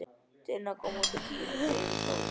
Tinna kom tíu mínútur yfir tólf.